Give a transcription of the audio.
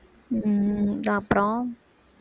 உம் அப்புறம்